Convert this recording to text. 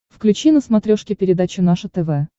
включи на смотрешке передачу наше тв